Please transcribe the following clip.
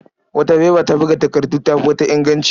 Wata faifa ta buga takardu ta fi wata inganci.